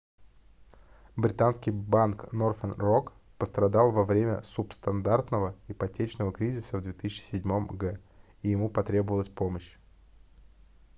британский банк northern rock пострадал во время субстандартного ипотечного кризиса в 2007 г и ему потребовалась помощь